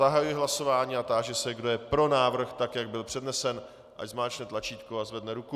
Zahajuji hlasování a táži se, kdo je pro návrh tak, jak byl přednesen, ať zmáčkne tlačítko a zvedne ruku.